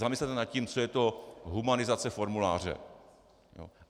Zamyslete nad tím, co je to humanizace formuláře.